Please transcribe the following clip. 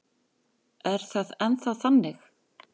Er það ennþá þannig?